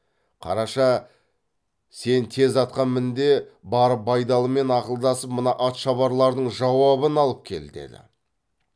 қараша сен тез атқа мін де барып байдалымен ақылдасып мына атшабарлардың жауабын алып кел деді